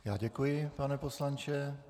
Já děkuji, pane poslanče.